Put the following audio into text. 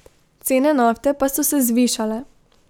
Cene nafte pa so se zvišale.